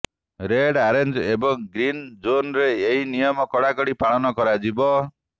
red orange ଏବଂ green ଜୋନ୍ରେ ଏହି ନିୟମ କଡ଼ାକଡ଼ି ପାଳନ କରାଯିବ